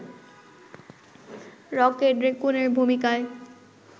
rocket রেকুনের ভূমিকায়